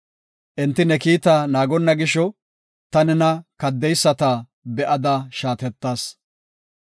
Enti ne kiita naagonna gisho, ta nena kaddeyisata be7ada shaatettas.